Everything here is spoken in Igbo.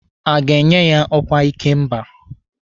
A ga-enye ya ọkwa ikemba?